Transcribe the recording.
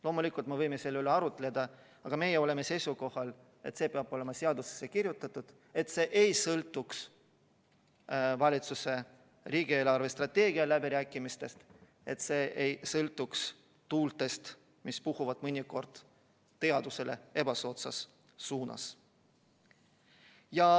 Loomulikult, me võime selle üle arutleda, aga meie oleme seisukohal, et see peab olema seadusesse kirjutatud, et see ei sõltuks riigi eelarvestrateegia läbirääkimistest, et see ei sõltuks tuultest, mis puhuvad mõnikord teadusele ebasoodsas suunas.